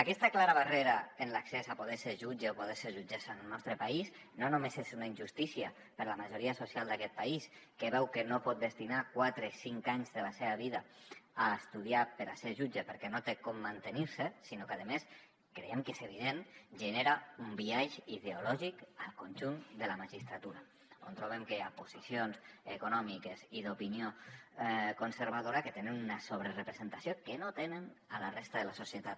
aquesta clara barrera en l’accés a poder ser jutge o poder ser jutgessa en el nostre país no només és una injustícia per a la majoria social d’aquest país que veu que no pot destinar quatre cinc anys de la seva vida a estudiar per a ser jutge perquè no té com mantenir se sinó que a més creiem que és evident genera un biaix ideològic al conjunt de la magistratura on trobem que hi ha posicions econòmiques i d’opinió conservadora que tenen una sobrerepresentació que no tenen a la resta de la societat